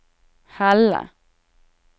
Helle